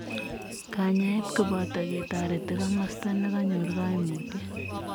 Kanyaet kopotoo ketoreti komasta nekanyor kaimutiet.